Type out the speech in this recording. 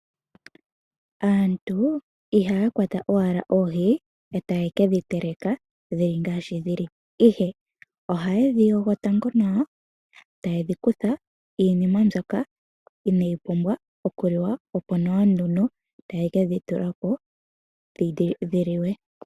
Aantu ihaya kwata owala oohi etaye ke dhi teleka dhili ngaashi dhili. Ihe ohaye dhi yogo tango nawa etaye dhi kutha iinima mbyoka inaayi pumbwa okuliwa. Opo nee nduno taye ke dhi tula po dhi liwe.